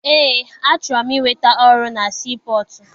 Eé, achọrọ m inweta ọrụ na sii pọtụ.